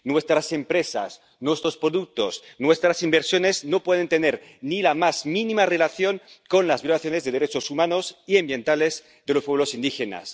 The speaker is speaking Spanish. Nuestras empresas, nuestros productos, nuestras inversiones no pueden tener ni la más mínima relación con las violaciones de los derechos humanos y ambientales de los pueblos indígenas.